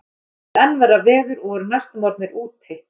Þeir hrepptu enn verra veður og voru næstum orðnir úti.